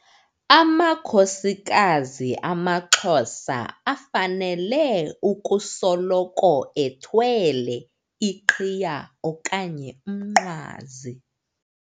Amakhosikazi amaXhosa afanele ukusoloko ethwele iqhiya okanye umnqwazi.